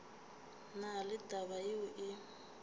na le taba yeo e